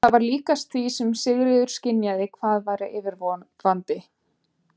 Það var líkast því sem Sigríður skynjaði hvað væri yfirvofandi.